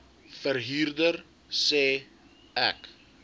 verhuurder sê ek